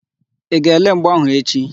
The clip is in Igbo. Ị ga-ele mgba áhụ̀ echi?